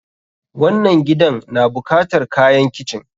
wannann gidan na bukatar kayan kitchen.